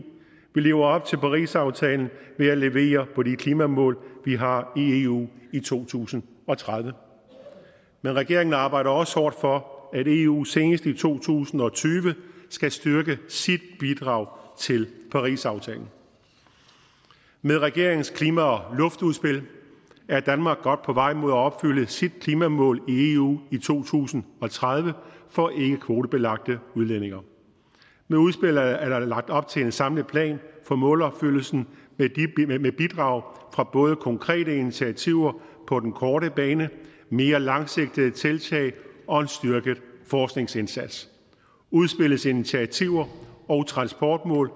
vi lever op til parisaftalen ved at levere på de klimamål vi har i eu i to tusind og tredive men regeringen arbejder også hårdt for at eu senest i to tusind og tyve skal styrke sit bidrag til parisaftalen med regeringens klima og luftudspil er danmark godt på vej mod at opfylde sit klimamål i eu i to tusind og tredive for ikkekvotebelagte udledninger med udspillet er der lagt op til en samlet plan for målopfyldelsen med bidrag fra både konkrete initiativer på den korte bane mere langsigtede tiltag og en styrket forskningsindsats udspillets initiativer og transportmål